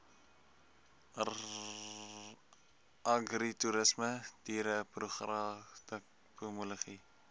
agritoerisme diereproduksie pomologie